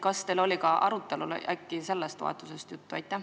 Kas teil oli arutelul ka sellest toetusest juttu?